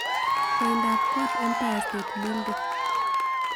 Koiindaap koot empire state building